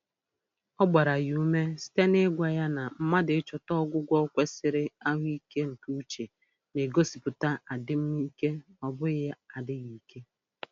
Ọ gbara ya ume site na-ịgwa ya na mmadụ ịchọta ọgwụgwọ kwesịrị ahụike nke uche na-egosipụta adịm ike ọ bụghị adịghị ike